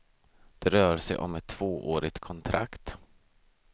Det rör sig om ett tvåårigt kontrakt.